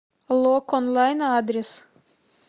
лок онлайн адрес